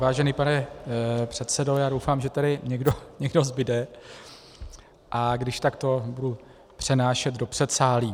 Vážený pane předsedo, já doufám, že tady někdo zbude, a když tak to budu přenášet do předsálí.